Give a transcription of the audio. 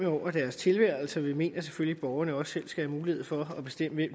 over deres tilværelse vi mener selvfølgelig at borgerne også selv skal have mulighed for at bestemme